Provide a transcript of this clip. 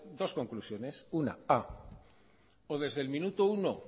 dos conclusiones una o desde el minuto uno